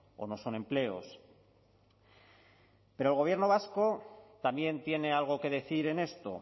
o no son empleos pero el gobierno vasco también tiene algo que decir en esto